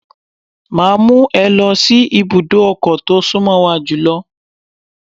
Máa mú ẹ lọ sí ibùdó ọkọ̀ tó sún mọ́ wa jùlọ.